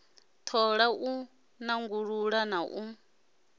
thola u nanguludza na u